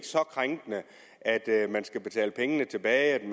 så krænkende at at man skal betale pengene tilbage